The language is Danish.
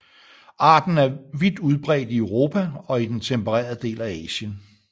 Arten er vidt udbredt i Europa og i den tempererede del af Asien